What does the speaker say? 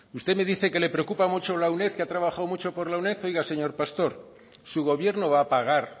usted me dice que le preocupa mucho la uned que ha trabajado mucho por la uned oiga señor pastor su gobierno va a pagar